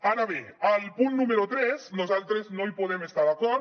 ara bé amb el punt número tres nosaltres no hi podem estar d’acord